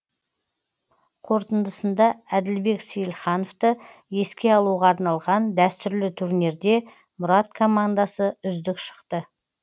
қорытындысында әділбек сейілхановты еске алуға арналған дәстүрлі турнирде мұрат командасы үздік шықты